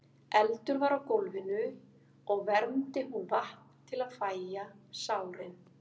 Eldur var á gólfinu og vermdi hún vatn til að fægja sárin.